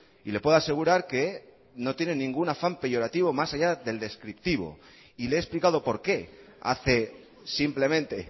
y le puedo asegurar que no tiene ningún afán peyorativo más allá del descriptivo y le he explicado por qué hace simplemente